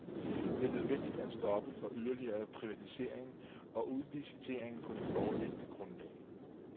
Det er nødvendigt at stoppe for yderligere privatisering og udlicitering på det foreliggende grundlag.